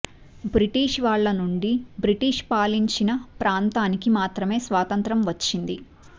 British వాళ్ల నుండి British పాలించిన ప్రాంతానికి మాత్రమే స్వాతంత్య్రం వచ్చింది